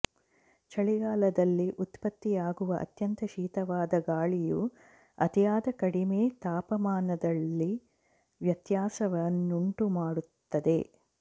ಚಳಿಗಾಲದಲ್ಲಿ ಉತ್ಪತ್ತಿಯಾಗುವ ಅತ್ಯಂತ ಶೀತವಾದ ಗಾಳಿಯು ಅತಿಯಾದ ಕಡಿಮೆ ತಾಪಮಾನದಲ್ಲಿ ವ್ಯತ್ಯಾಸವನ್ನುಂಟುಮಾಡುತ್ತದೆ